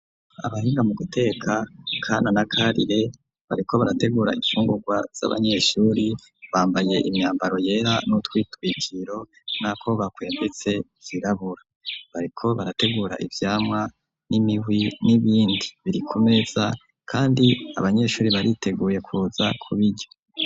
Abahinga mu guteka Kana na Karire bariko barategura infungurwa z'abanyeshuri. Bambaye imyambaro yera n'udutwikiro n'ako bakwembetse zirabura. Bariko barategura ivyamwa n'imihwi n'ibindi biri kumeza kandi abanyeshuri bariteguye kuza kubirya.